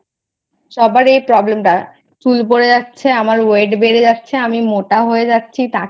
সবার এই Problem টা চুল পরে যাচ্ছে আমার Weight বেড়ে যাচ্ছে আমি মোটা হয়ে যাচ্ছি।